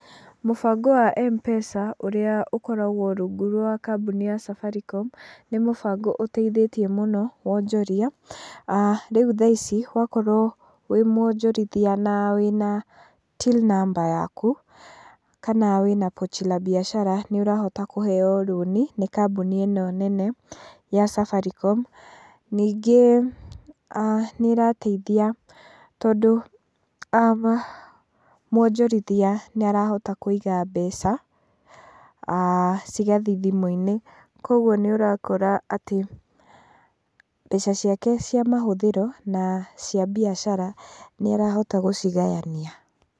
Mũbango wa M-Pesa ũrĩa ũkoragwo rungu rwa kambuni ya Safaricom, nĩ mũbango ũteithĩtie mũno wonjoria. Rĩu thaa ici, wakorwo wĩ muonjorithia na wĩna Till Number yaku, kana wĩna Pochi La Biashara, nĩũrahota kũheo rũni nĩ kambuni ĩno nene ya Safaricom. Ningĩ nĩ ĩrateithia tondũ muonjorithia nĩ arahota kũiga mbeca cigathiĩ thimu-inĩ. Koguo nĩũrakora atĩ mbeca ciake cia mahũthĩro na cia mbiacara nĩarahota gũcigayania.